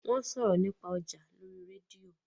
wón sòrò nípa ọja lórí rédíò.